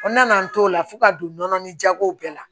O nana n t'o la fo ka don nɔnɔnin jagow bɛɛ la